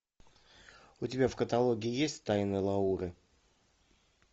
у тебя в каталоге есть тайны лауры